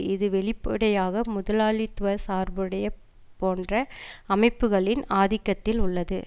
இது வெளிப்படையாக முதலாளித்துவ சார்புடைய போன்ற அமைப்புக்களின் ஆதிக்கத்தில் உள்ளது